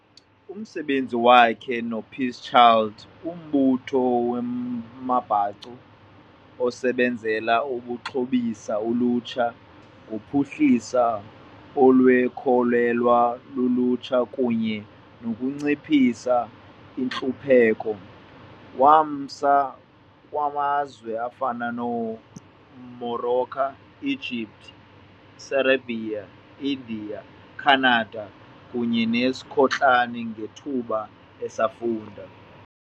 Umsebenzi wakhe noPeace Child, umbutho weembacu osebenzela ukuxhobisa ulutsha ngophuhliso olukhokelwa lulutsha kunye nokunciphisa intlupheko, wamsa kumazwe afana neMorocco, Egypt, Serbia, India, Canada kunye neSkotlani ngethuba esafunda.